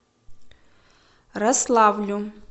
рославлю